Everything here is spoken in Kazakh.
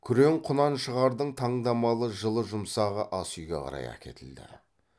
күрең құнаншығардың таңдамалы жылы жұмсағы ас үйге қарай әкетілді